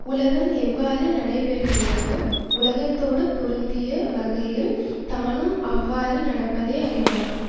உலகம் எவ்வாறு நடைபெறுகின்றதோ உலகத்தோடு பொருந்திய வகையில் தானும் அவ்வாறு நடப்பதே அறிவாகும்